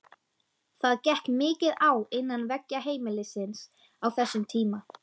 Það gekk mikið á innan veggja heimilisins á þessum tíma.